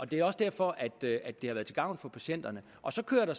det er også derfor det har været til gavn for patienterne så kører der